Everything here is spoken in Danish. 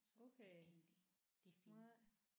Så det er egentlig det er fint